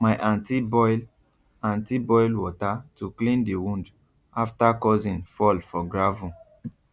my aunty boil aunty boil water to clean the wound after cousin fall for gravel